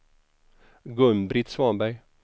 Gun-Britt Svanberg